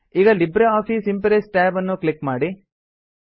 ಈಗ LibreOffice impress tab ನ್ನು click ಮಾಡಿ